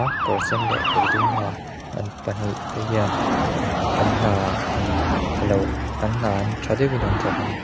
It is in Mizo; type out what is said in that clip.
kawr sen leh kawr dum ha an pahnih te hian an hna an a lo an hna an tha deuhin an thawk ani.